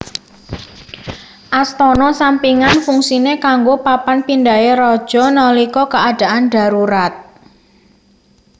Astana sampingan fungsine kanggo papan pindhahe raja nalika keadaan darurat